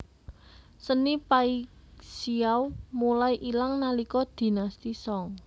Seni Paixiao mulai ilang nalika Dinasti Song